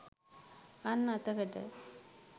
අන් අතකට